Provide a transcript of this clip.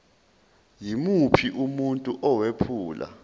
yimuphi umuntu owephula